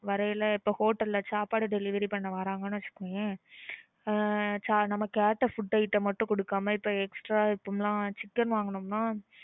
வரையில hotel ல சாப்பாடு delivery பண்ண வர்றாங்கன்னு வெட்சுகோயேன் ஆஹ் நம்ம கேட்ட food item மட்டும் குடுக்காம இப்போ extra இப்போம்லாம் chicken வாங்குனோம்னா